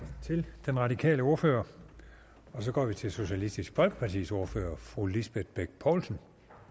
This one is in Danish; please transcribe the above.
til den radikale ordfører så går vi til socialistisk folkepartis ordfører fru lisbeth bech poulsen